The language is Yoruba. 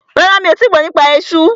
Rárá, mi ò tíì gbọ́ nípa esú.